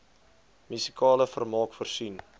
musikale vermaak voorsien